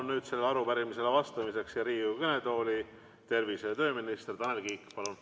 Ma palun sellele arupärimisele vastamiseks siia Riigikogu kõnetooli tervise- ja tööminister Tanel Kiige!